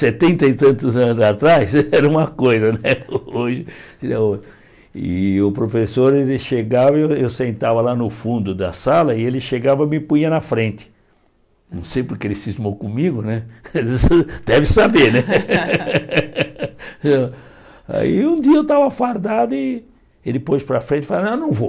setenta e tantos anos atrás era uma coisa né hoje é o e o professor ele chegava e eu sentava lá no fundo da sala e ele chegava e me punha na frente não sei porque ele cismou comigo né deve saber aí um dia eu estava fardado e ele pôs para a frente e falei, ah não vou